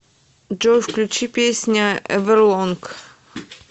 джой включи песня эверлонг